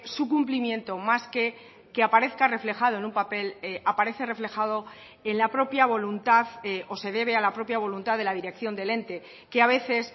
su cumplimiento más que aparezca reflejado en un papel aparece reflejado en la propia voluntad o se debe a la propia voluntad de la dirección del ente que a veces